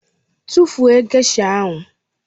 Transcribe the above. Tụfuo gesha ahụ!